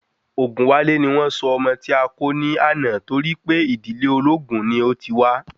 Ogunwale ni wọ́n sọ ọmọ ti a kó ni àná torí pé ìdílé olóògún ni o tí wa